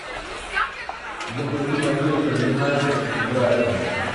запусти манчестер юнайтед брайтон